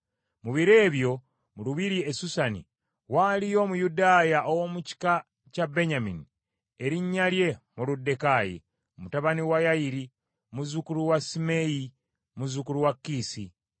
Mu biro ebyo mu lubiri e Susani, waaliyo Omuyudaaya ow’omu kika kya Benyamini, erinnya lye Moluddekaayi, mutabani wa Yayiri, muzzukulu wa Simeeyi, muzzukulu wa Kiisi,